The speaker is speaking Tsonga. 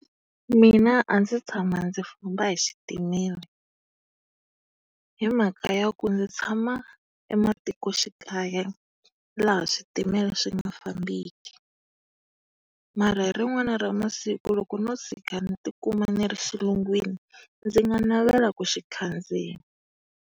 Mina a ndzi se tshama ndzi famba hi xitimele hi mhaka ya ku ndzi tshama ematikoxikaya laha switimela swi nga fambeki. Mara hi rin'wana ra masiku loko no tshika ni timuma ni ri xilungwini, ndzi nga navela ku xi khandziya.